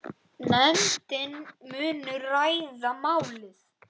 Nefndin muni ræða málið síðar.